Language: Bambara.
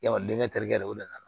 Yarɔ denkɛ terikɛ de o de ka na